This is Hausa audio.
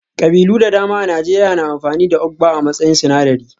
Ƙabilu da dama a Najeriya na amfani da Ugba a matsayin sinadari